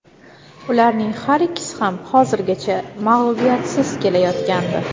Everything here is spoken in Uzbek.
Ularning har ikkisi ham hozirgacha mag‘lubiyatsiz kelayotgandi.